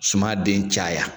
Suma den caya.